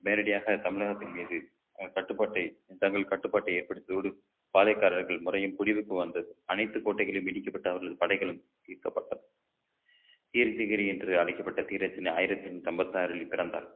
நேரடியாக தமிழகத்தின் மீது அஹ் கட்டுப்பாட்டை தங்கள் கட்டுப்பாட்டை ஏற்படுத்தியதோடு பாளையக்காரர்கள் முறையும் குடியிருப்பு வந்தது அனைத்து கோட்டைகளும் இடிக்கப்பட்டு அவர்கள் படைகளும் மீட்கப்பட்டது degree என்று அழைக்கப்பட்ட ஆயிரத்தி நூத்தி ஐம்பத்தி ஆறில் பிறந்தார்